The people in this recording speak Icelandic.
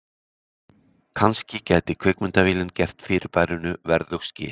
Kannski gæti kvikmyndavélin gert fyrirbærinu verðug skil.